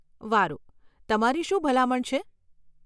વારુ, તમારી શું ભલામણ છે?